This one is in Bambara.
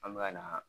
An bɛ ka na